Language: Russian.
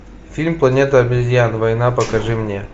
фильм планета обезьян война покажи мне